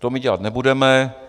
To my dělat nebudeme.